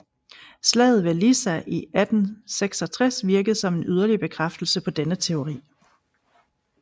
Slaget ved Lissa i 1866 virkede som en yderligere bekræftelse på denne teori